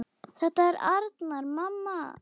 Þetta er Arnar, mamma!